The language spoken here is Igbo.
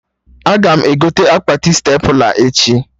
Aga m egote akpati stepla echi